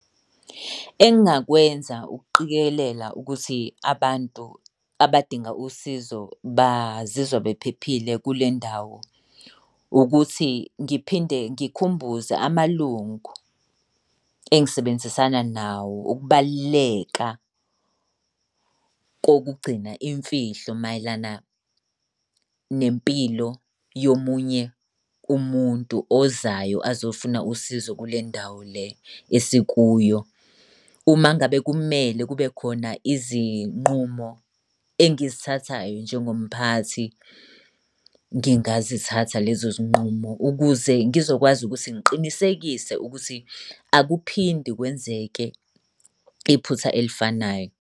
Engingakwenza ukuqikelela ukuthi abantu abadinga usizo bazizwa bephephile kule ndawo ukuthi ngiphinde ngikhumbuze amalungu engisebenzisana nawo ukubaluleka kokugcina imfihlo mayelana nempilo yomunye umuntu ozayo azofuna usizo kule ndawo le esikuyo. Uma ngabe kumele kube khona izinqumo engizithathayo njengomphathi, ngingazithatha lezo zinqumo ukuze ngizokwazi ukuthi ngiqinisekise ukuthi akuphindi kwenzeke iphutha elifanayo.